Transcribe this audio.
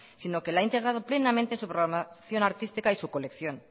sino que la ha integrado plenamente en su programación artística y su colección